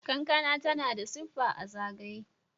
kankana tana da siffa a zagaye